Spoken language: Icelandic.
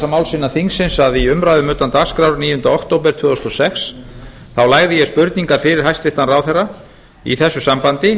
máls innan þingsins að í umræðum utan dagskrár níundi október tvö þúsund og sex lagði ég spurningar fyrir hæstvirtan ráðherra í þessu sambandi